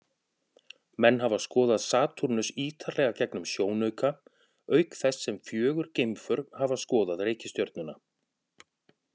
Menn hafa skoðað Satúrnus ýtarlega gegnum sjónauka, auk þess sem fjögur geimför hafa skoðað reikistjörnuna.